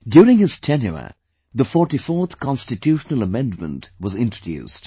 During his tenure, the 44th constitutional amendment was introduced